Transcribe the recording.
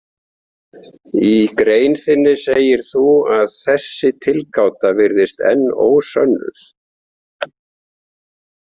Í grein þinni segir þú að „þessi tilgáta virðist enn ósönnuð“.